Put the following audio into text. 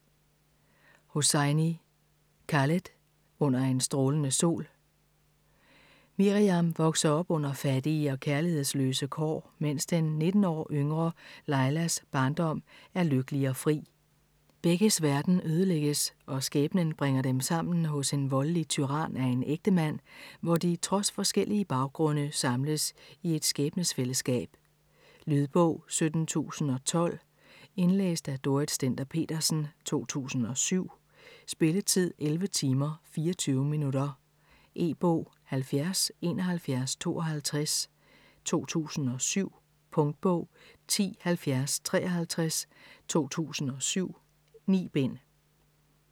Hosseini, Khaled: Under en strålende sol Miriam vokser op under fattige og kærlighedsløse kår, mens den 19 år yngre Lailas barndom er lykkelig og fri. Begges verden ødelægges og skæbnen bringer dem sammen hos en voldelig tyran af en ægtemand, hvor de trods forskellige baggrunde samles i et skæbnesfællesskab. Lydbog 17012 Indlæst af Dorrit Stender-Petersen, 2007. Spilletid: 11 timer, 24 minutter. E-bog 707152 2007. Punktbog 107053 2007. 9 bind.